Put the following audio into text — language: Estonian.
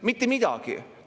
Mitte midagi!